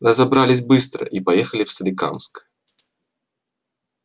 разобрались быстро и поехал в соликамск